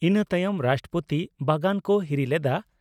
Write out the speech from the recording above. ᱤᱱᱟᱹ ᱛᱟᱭᱚᱢ ᱨᱟᱥᱴᱨᱚᱯᱳᱛᱤ ᱵᱟᱜᱟᱱ ᱠᱚ ᱦᱤᱨᱤ ᱞᱮᱫᱼᱟ ᱾